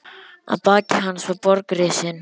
Að baki hans var borg risin.